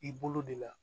I bolo de la